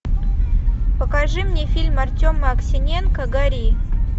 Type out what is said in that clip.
покажи мне фильм артема аксененко гори